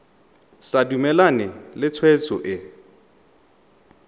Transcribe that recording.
sa dumalane le tshwetso e